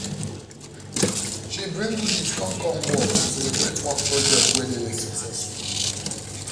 she bring goodies come come work to celebrate one project wey dey successful